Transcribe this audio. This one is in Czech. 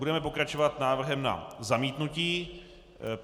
Budeme pokračovat návrhem na zamítnutí.